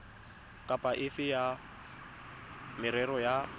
kapa efe ya merero ya